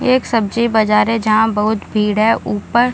एक सब्जी बजार है जहाँ बहुत भीड़ है ऊपर --